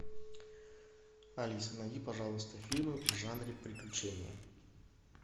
алиса найди пожалуйста фильмы в жанре приключения